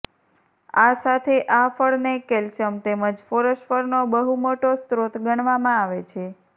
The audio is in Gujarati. આ સાથે આ ફળ ને કેલ્શિયમ તેમજ ફોસ્ફરસ નો બહુ મોટો સ્ત્રોત ગણવામા આવે છે